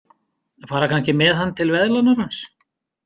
Fara kannski með hann til veðlánarans?